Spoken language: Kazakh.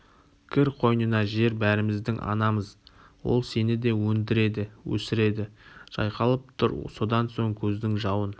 кір қойнына жер бәріміздің анамыз ол сені де өндіреді өсіреді жайқалып тұр содан соң көздің жауын